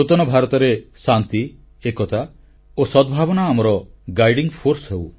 ନୂତନ ଭାରତରେ ଶାନ୍ତି ଏକତା ଓ ସଦ୍ଭାବନା ଆମର ମାର୍ଗଦର୍ଶୀ ବଳ ହେଉ